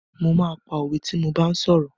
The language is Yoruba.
Mo máa pa òwe tí mo bá ń sọ̀rọ̀.